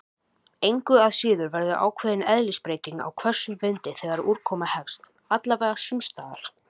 Engu að síður verður ákveðin eðlisbreyting á hvössum vindi þegar úrkoma hefst- alla vega sumstaðar.